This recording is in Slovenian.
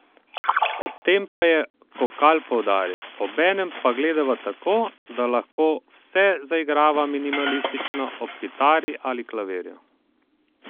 Ob tem pa je Kokalj poudaril: "Obenem pa gledava tako, da lahko vse zaigrava minimalistično ob kitari ali klavirju.